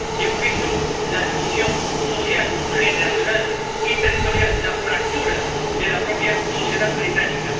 y hemos visto la división social, generacional y territorial, la fractura de la propia sociedad británica.